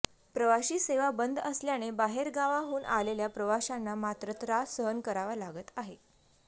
प्रवाशी सेवा बंद असल्याने बाहेरगावाहून आलेल्या प्रवाशांना मात्र त्रास सहन करावा लागत आहे